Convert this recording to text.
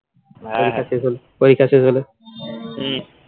পরীক্ষা শেষ হলে